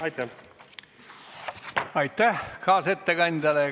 Aitäh!